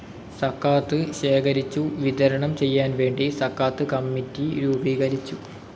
സക്കാത്ത് ശേഖരിച്ചു വിതരണം ചെയ്യാൻ വേണ്ടി സക്കാത്ത് കമ്മിറ്റി രൂപീകരിച്ചു.